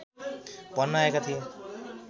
भन्न आएका थिए